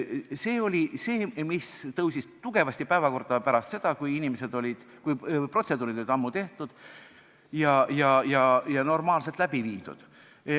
See oli see, mis tõusis tugevasti päevakorda pärast seda, kui protseduurid olid ammu tehtud ja normaalselt läbi viidud.